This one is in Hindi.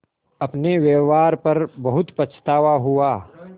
अपने व्यवहार पर बहुत पछतावा हुआ